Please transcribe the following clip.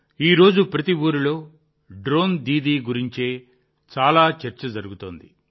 ఈరోజు ప్రతి ఊరిలో డ్రోన్ దీదీ గురించే చాలా చర్చ జరుగుతోంది